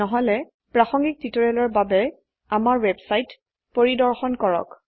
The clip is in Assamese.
নহলে প্ৰাসঙ্গিক টিউটোৰিয়ালেৰ বাবে আমাৰ ওয়েবসাইট পৰিদৰ্শন কৰক